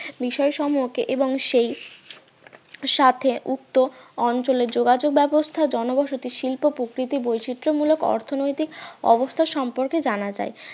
বিষয় সম্পর্কে এবং সেই সাথে উক্ত অঞ্চলে যোগাযোগ ব্যবস্থা জনবসতী শিল্প প্রকৃতি বৈচিত্র মূলক অর্থনৈতিক অবস্থা সম্পর্কে জানা যায়